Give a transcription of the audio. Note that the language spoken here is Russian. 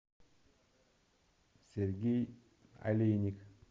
сергей олейник